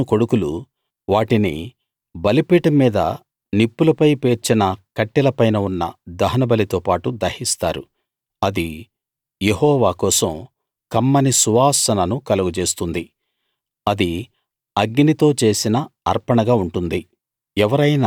అహరోను కొడుకులు వాటిని బలిపీఠం మీద నిప్పులపై పేర్చిన కట్టెల పైన ఉన్న దహనబలి తో పాటు దహిస్తారు అది యెహోవా కోసం కమ్మని సువాసనను కలుగజేస్తుంది అది అగ్నితో చేసిన అర్పణగా ఉంటుంది